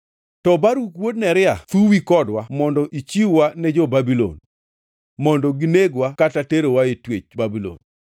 To Baruk wuod Neria thuyi kodwa mondo ichiw-wa ne jo-Babulon, mondo ginegwa kata terowa e twech Babulon.”